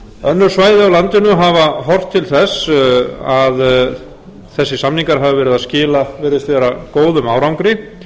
önnur svæði á landinu hafa horft til þess að þessir samningar hafa verið að skila virðist vera góðum árangri